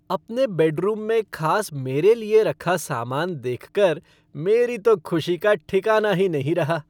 अपने बेडरूम में खास मेरे लिए रखा सामान देखकर मेरी तो खुशी का ठिकाना ही नहीं रहा।